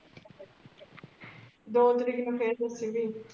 ਦੋ ਤਰੀਕ ਨੂ ਫਰ ਦੱਸੀ ਵੀ।